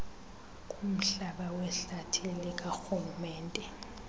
kumhlaba wehlathi likarhulumente